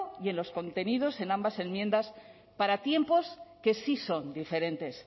y en los contenidos en ambas enmiendas para tiempos que sí son diferentes